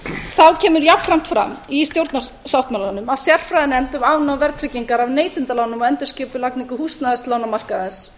þá kemur jafnframt fram í stjórnarsáttmálanum að sérfræðinefnd um afnám verðtryggingar af neytendalánum og endurskipulagningu húsnæðislánamarkaðarins